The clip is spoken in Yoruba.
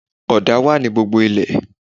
Ọ̀dà wà ní gbogbo ilẹ̀